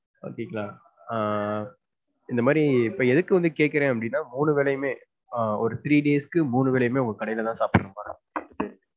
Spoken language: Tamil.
Okay ங்களா. ஆஹ் இந்தமாதிரி இப்ப எதுக்கு வந்து கேக்குறேன் அப்டினா மூணு வேளையுமே ஆஹ் ஒரு three days க்கு, மூணு வேளையுமே உங்க கடைல தான் சாப்பிடணும்.